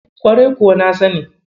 Kwarai kuwa na sani.